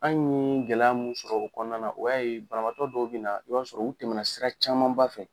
An ye gɛlɛya mun sɔrɔ kɔnɔna na o y'a ye banabaatɔ dɔw bɛ na i b'a sɔrɔ u tɛmɛna sira camanba fɛ